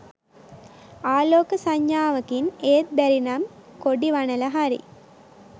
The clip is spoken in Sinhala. ආලෝක සංඥාවකින් ඒත් බැරිනම් කොඩි වනල හරි